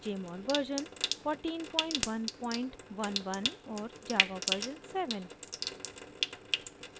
jmol version 14111 और java version 7